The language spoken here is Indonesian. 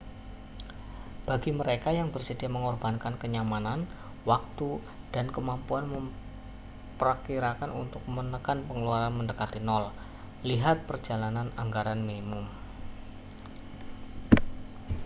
bagi mereka yang bersedia mengorbankan kenyamanan waktu dan kemampuan memprakirakan untuk menekan pengeluaran mendekati nol lihat perjalanan anggaran minimum